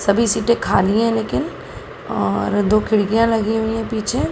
सभी सीटे खाली है लेकिन और दो खिड़कियां लगी हुई है पीछे।